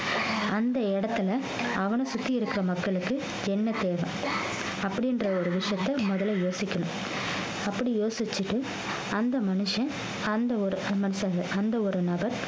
அந்த இடத்துல அவனை சுத்தி இருக்கிற மக்களுக்கு என்ன தேவை அப்படின்ற ஒரு விஷயத்த முதல்ல யோசிக்கணும் அப்படி யோசிச்சிட்டு அந்த மனுஷன் அந்த ஒரு மனுசங்க அந்த ஒரு நபர்